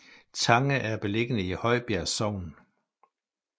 Tange er beliggende i Højbjerg Sogn